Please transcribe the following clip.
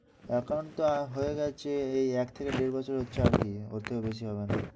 account টা হয়ে গেছে। এই এক থেকে দেড় বছরে ওর চেয়ে বেশি হবে না।